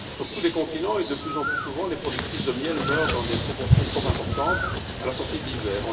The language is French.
Sur tous les continents et de plus en plus souvent, les productrices de miel meurent dans des proportions trop importantes à la sortie de l'hiver.